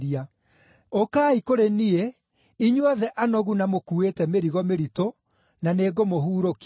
“Ũkai kũrĩ niĩ, inyuothe anogu na mũkuuĩte mĩrigo mĩritũ, na nĩngũmũhurũkia.